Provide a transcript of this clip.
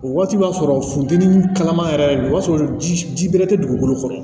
O waati b'a sɔrɔ funteni kalama yɛrɛ de don o y'a sɔrɔ ji bɛrɛ tɛ dugukolo kɔnɔ